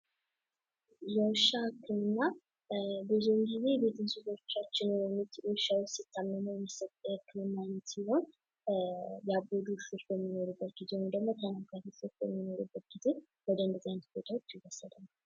የውሻ ህክምና ብዙውን ጊዜ ቤት ውሾቻችን ሲታመሙ የሚሰጥ የህክምና አይነት ሲሆን፤ ያበዱ ውሾች በሚኖሩበት ጊዜ ውይም ደግሞ ወደንደዝህ ቦታዎች ይወሰዳል።